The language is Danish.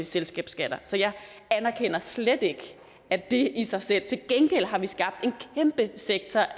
selskabsskatter så jeg anerkender slet ikke at det i sig selv til gengæld har vi skabt en kæmpe sektor